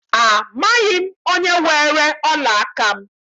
Amaghị m onye weere ọla aka m.